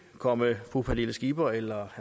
at komme fru pernille skipper eller